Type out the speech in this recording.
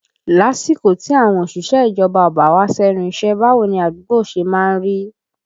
Lásìkò tí àwọn òṣìṣẹ́ ìjọba ò bá wá sẹ́nu iṣẹ́, báwo ni àdúgbò ṣe má ń rí?